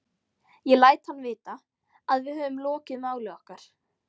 Ég læt hann vita, að við höfum lokið máli okkar.